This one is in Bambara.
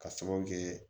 Ka sababu kɛ